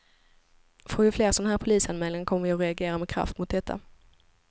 Får vi fler såna här polisanmälningar kommer vi att reagera med kraft emot detta.